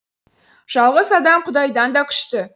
жалғыз адам құдайдан да күшті